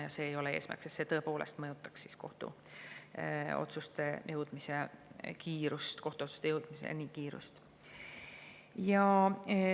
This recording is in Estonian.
Ja see ei ole eesmärk, see tõepoolest mõjutaks kohtuotsusteni jõudmise kiirust.